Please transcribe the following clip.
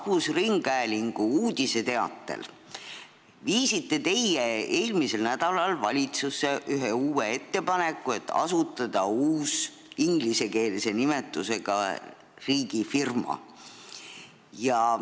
Rahvusringhäälingu teatel viisite te eelmisel nädalal valitsusse ettepaneku, et asutada uus, ingliskeelse nimetusega riigifirma.